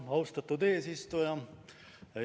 Austatud eesistuja!